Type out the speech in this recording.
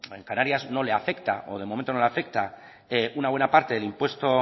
en canarias no le afecta o de momento no le afecta una buena parte